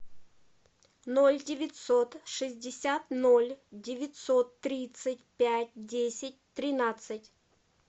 ноль девятьсот шестьдесят ноль девятьсот тридцать пять десять тринадцать